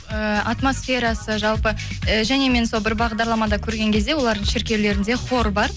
э атмосферасы жалпы э және мен сол бір бағдарламада көрген кезде олардың шіркеулерінде хор бар